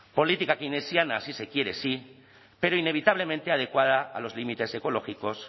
política keynesiana sí se quiere sí pero inevitablemente adecuada a los límites ecológicos